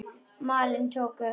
Málin höfðu tekið óvænta stefnu.